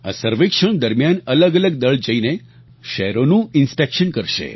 આ સર્વેક્ષણ દરમિયાન અલગઅલગ દળ જઈને શહેરોનું ઇન્સ્પેક્શન કરશે